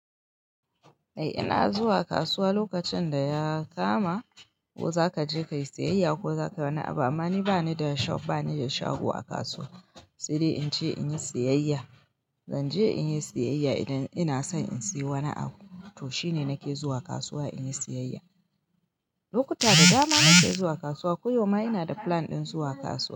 Eh ina zuwa kasuwa lokacin da ya kama ko zaka je kayi siyayya ko zaka wani abu. Amma ni bani da shop, bani da shago a kasuwa, sai dai in je in yi siyayya. Zanje in yi siyayya idan ina son in siya wani abu, to shine nake zuwa kasuwa in yi siyayya. Lokuta da dama na ke zuwa kasuwa, ko yauma ina da plan ɗin zuwa kasuwa.